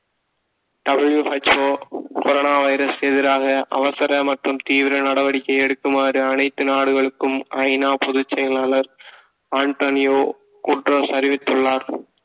WHOcorona virus எதிராக அவசர மற்றும் தீவிர நடவடிக்கை எடுக்குமாறு அனைத்து நாடுகளுக்கும் ஐநா பொதுச்செயலாளர் அன்டோனியோ குடெரொ அறிவித்துள்ளார்